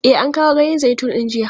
E, an kawo ganyen zaitun din jiya.